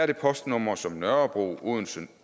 det postnumre som nørrebro odense